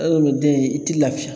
Adamaden i ti lafiya.